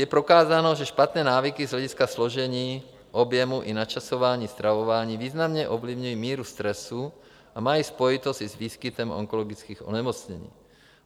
Je prokázáno, že špatné návyky z hlediska složení, objemu i načasování stravování významně ovlivňují míru stresu a mají spojitost i s výskytem onkologických onemocnění.